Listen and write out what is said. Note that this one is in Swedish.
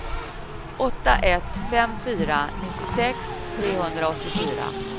åtta ett fem fyra nittiosex trehundraåttiofyra